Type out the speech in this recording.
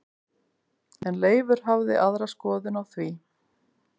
En Leifur hafði aðra skoðun á því.